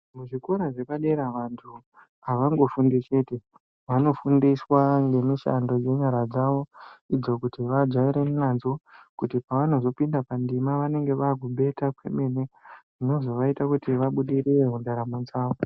Muzvikora zvepadera vantu havangofundi chete, vanofundiswa ngemishando yenyara dzavo idzo kuti vajaire nadzo kuti pavanozopinda pandima vanenge vakumbeta kwemene zvinobva zvaita kuti vabudirire muntaramo dzavo.